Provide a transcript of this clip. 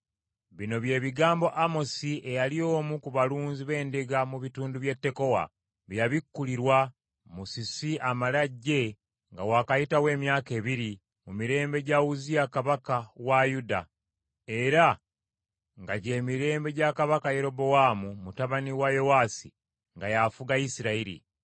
Bino bye bigambo Amosi eyali omu ku balunzi b’endiga mu bitundu by’e Tekowa bye yabikkulirwa, musisi amale ajje nga wakayitawo emyaka ebiri, mu mirembe gya Uzziya kabaka wa Yuda, era nga gy’emirembe gya kabaka Yerobowaamu mutabani wa Yowaasi nga y’afuga Isirayiri.